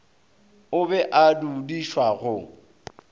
o be a dudišwa go